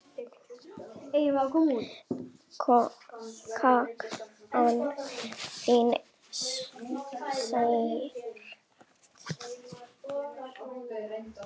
Sakna þín sárt.